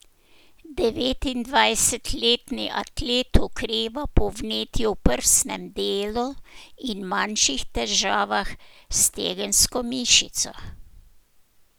Devetindvajsetletni atlet okreva po vnetju v prsnem delu in manjših težavah s stegensko mišico.